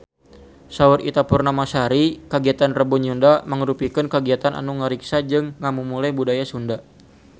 Saur Ita Purnamasari kagiatan Rebo Nyunda mangrupikeun kagiatan anu ngariksa jeung ngamumule budaya Sunda